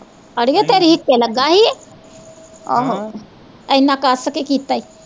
ਅੜੀਏ ਤੇਰੀ ਹਿਕੇ ਲਗਾ ਸੀ ਆਹ ਹਮ ਏਨਾਂ ਕੱਸ ਕੇ ਕੀਤਾ ਈ